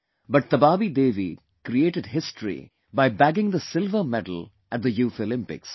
But Tabaabi Devi created history by bagging the silver medal at the youth Olympics